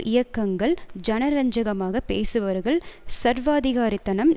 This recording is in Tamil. இயக்கங்கள் ஜனரஞ்சகமாக பேசுபவர்கள் சர்வாதிகாரத்தனம்